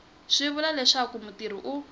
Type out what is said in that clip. swi vula leswaku mutirhi u